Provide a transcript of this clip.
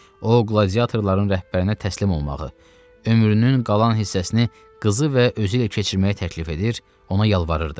O qladiatorların rəhbərinə təslim olmağı, ömrünün qalan hissəsini qızı və özü ilə keçirməyi təklif edir, ona yalvarırdı.